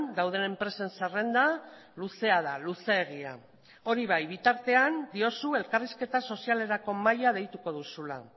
dauden enpresen zerrenda luzea da luzeegia hori bai bitartean diozu elkarrizketa sozialerako mahaia deituko duzula